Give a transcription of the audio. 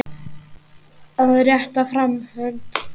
Að rétta fram hönd